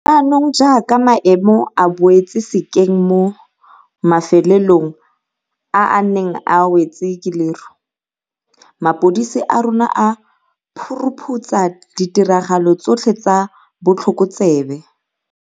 Jaanong jaaka maemo a boetse sekeng mo mafelelong a a neng a wetswe ke leru, mapodisi a rona a phu ruphutsa ditiragalo tsotlhe tsa botlhokotsebe.